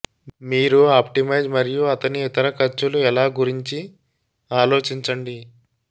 మీరు ఆప్టిమైజ్ మరియు అతని ఇతర ఖర్చులు ఎలా గురించి ఆలోచించండి